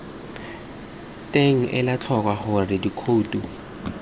teng ela tlhoko gore dikhouto